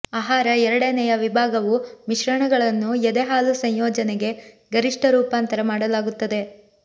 ಆಹಾರ ಎರಡನೆಯ ವಿಭಾಗವು ಮಿಶ್ರಣಗಳನ್ನು ಎದೆ ಹಾಲು ಸಂಯೋಜನೆಗೆ ಗರಿಷ್ಠ ರೂಪಾಂತರ ಮಾಡಲಾಗುತ್ತದೆ